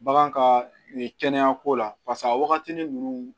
Bagan ka kɛnɛya ko la pasek'a waagatinin ninnu